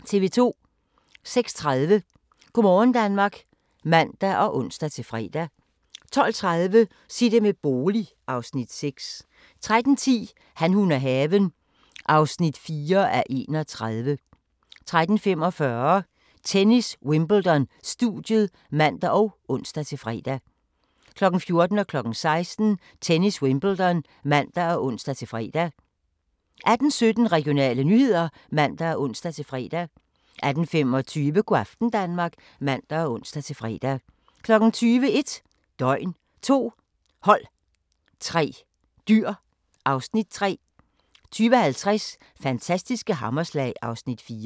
06:30: Go' morgen Danmark (man og ons-fre) 12:30: Sig det med bolig (Afs. 6) 13:10: Han, hun og haven (4:31) 13:45: Tennis: Wimbledon - studiet (man og ons-fre) 14:00: Tennis: Wimbledon (man og ons-fre) 16:00: Tennis: Wimbledon (man og ons-fre) 18:17: Regionale nyheder (man og ons-fre) 18:25: Go' aften Danmark (man og ons-fre) 20:00: 1 døgn, 2 hold, 3 dyr (Afs. 3) 20:50: Fantastiske hammerslag (Afs. 4)